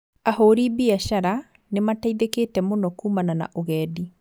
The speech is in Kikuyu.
Ahũrĩ biacara nĩmateithĩkĩte mũno kumana na ũgendi